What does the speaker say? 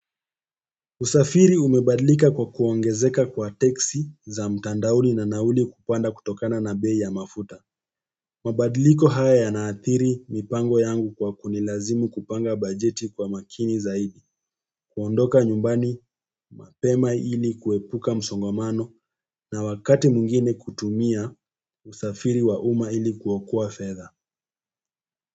Usafiri umebadilika kwa kuongezeka kwa teksi za mtandaoni na nauli kupanda kutokana na bei ya mafuta. Mabadliko haya yanaathiri mipango yangu kwa kunilazimu kupanga bajeti kwa makini zaidi. Kuondoka nyumbani mapema ili kuepuka msongamano na wakati mwingine kutumia usafiri wa umma ili kuokoa fedha.